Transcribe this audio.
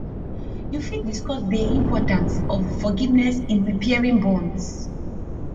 you fit discuss dey importance of forgiveness in repairing bonds